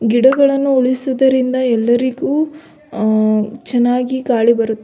ಗಿಡಗಳನ್ನು ಉಳಿಸಿದ್ದರಿಂದ ಎಲ್ಲರಿಗು ಅಹ್ ಚೆನ್ನಾಗಿ ಗಾಳಿ ಬರು --